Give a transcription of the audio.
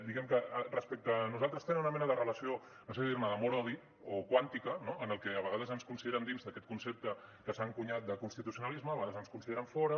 diguem ne que respecte a nosaltres tenen una mena de relació no sé si dir ne d’amor odi o quàntica no que a vegades ens consideren dins d’aquest concepte que s’ha encunyat de constitucionalisme a vegades ens en consideren fora